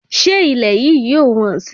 Ṣé ilẹ̀ yìí yóò wọ́n sì?